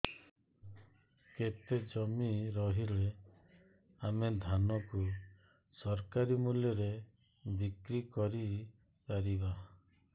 କେତେ ଜମି ରହିଲେ ଆମେ ଧାନ କୁ ସରକାରୀ ମୂଲ୍ଯରେ ବିକ୍ରି କରିପାରିବା